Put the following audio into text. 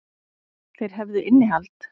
Þeir hefðu innihald.